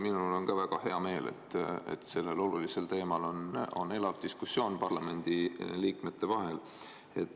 Minul on ka väga hea meel, et sellel olulisel teemal on elav diskussioon parlamendiliikmete vahel.